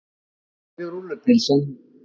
Það gerði rúllupylsan.